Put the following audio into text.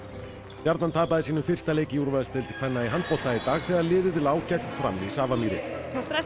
stjarnan tapaði sínum fyrsta leik í úrvalsdeild kvenna í handbolta í dag þegar liðið lá gegn Fram í Safamýri